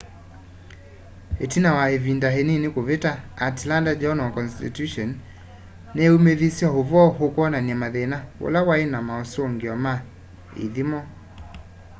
itina wa ivinda inini kuvita atlanta journal-constitution niyaumithisye uvoo ukwonania mathina ula wai na mausungio ma ithimo